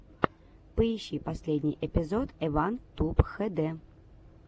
поищи последний эпизод эван туб хэ дэ